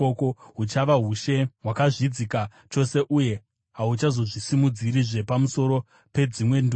Huchava ushe hwakazvidzika chose uye hahuchazozvisimudzirizve pamusoro pedzimwe ndudzi.